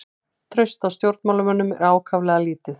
Traust á stjórnmálamönnum er ákaflega lítið